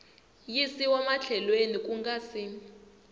yisiwa mahlweni ku nga si